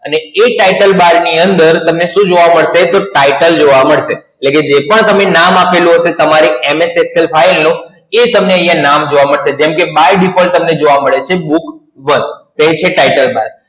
એટલે એ Title Bar ની અંદર તમને શું જોવા મળશે? તો Title જોવા મળશે. એટલે કે જે પણ તમે નામ, આપેલું હશે તમારી MS Excel file નું, એ તમને અહિયાં નામ જોવા મળશે. જેમ કે By Default તમને જોવા મળે છે Book એક, એ છે Title Bar.